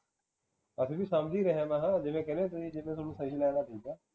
ਅਸੀਂ ਵੀ ਸਮਝ ਹੀ ਰਹੇ ਹਾ ਮੈਂ ਹਾ ਜਿਵੇਂ ਕਹਿੰਦੇ ਤੁਹੀ ਜਿਵੇ ਤੁਹਾਨੂੰ ਸਹੀ ਲੱਗਦਾ ਠੀਕ ਆ